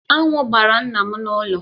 Aṅụ gbara nna m n’ụlọ.